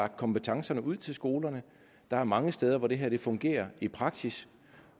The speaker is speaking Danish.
lagt kompetencerne ud til skolerne der er mange steder hvor det her fungerer i praksis